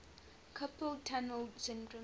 carpal tunnel syndrome